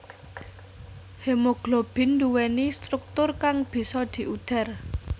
Hemoglobin nduwèni struktur kang bisa diudhar